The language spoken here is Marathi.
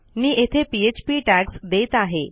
मी येथे पीएचपी टॅग्स देत आहे